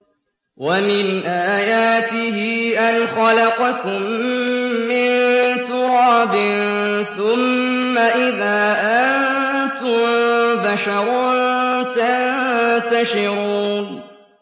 وَمِنْ آيَاتِهِ أَنْ خَلَقَكُم مِّن تُرَابٍ ثُمَّ إِذَا أَنتُم بَشَرٌ تَنتَشِرُونَ